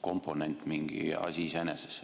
komponent elektri hinnas mingi asi iseeneses.